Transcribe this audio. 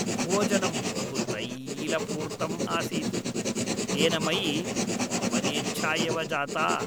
भोजनं बहु तैलपूर्तम् आसीत्, तेन मयि वमनेच्छा एव जाता।